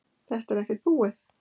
Þetta er ekkert búið